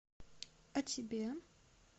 а тебе